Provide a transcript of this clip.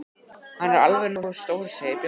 Hann er alveg nógu stór segir Bjössi.